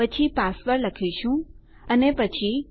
પછી પાસવર્ડ લખીશું અને પછી